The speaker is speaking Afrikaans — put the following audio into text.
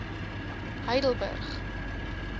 heidelburg